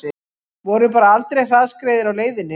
Vorum bara aldrei hraðskreiðir á leiðinni